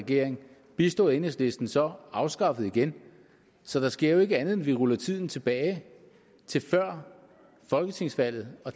regering bistået af enhedslisten så afskaffet igen så der sker jo ikke andet end at vi ruller tiden tilbage til før folketingsvalget